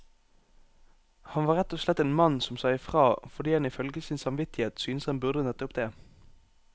Han var rett og slett en mann som sa ifra, fordi han ifølge sin samvittighet syntes han burde nettopp det.